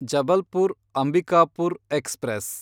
Jabalpur Ambikapur express